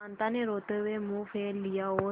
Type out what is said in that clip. कांता ने रोते हुए मुंह फेर लिया और